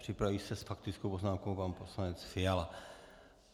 Připraví se s faktickou poznámkou pan poslanec Fiala.